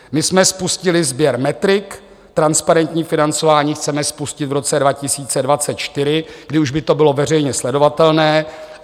My jsme spustili sběr metrik, transparentní financování chceme spustit v roce 2024, kdy už by to bylo veřejně sledovatelné.